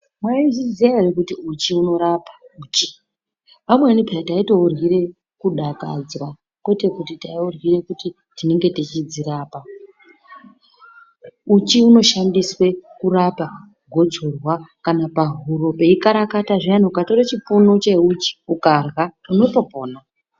Mwaizviziya ere kuti uchi unorapa, uchi. Vamweni peya taitouryire kudakadzwa kwete kuti taiuryire kuti tinenge tichidzirapa. Uchi unoshandiswe kurapa gotsorwa, kana pahuro peikarakati zviyani ukatore chipunu cheuchi ukarya, unotopora